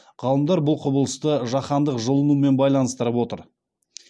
ғалымдар бұл құбылысты жаһандық жылынумен байланыстырып отыр